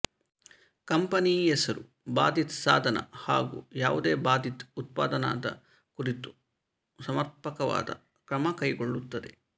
company ಹೆಸರು ಬಾಧಿತ ಸಾಧನ ಹಾಗೂ ಯಾವುದೇ ಬಾಧಿತ ಉತ್ಪನ್ನದ ಕುರಿತು ಸಮರ್ಪಕವಾದ ಕ್ರಮ ಕೈಗೊಳ್ಳುತ್ತದೆ